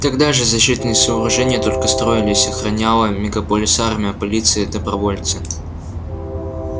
тогда же защитные сооружения только строились охраняла мегаполис армия полиция и добровольцы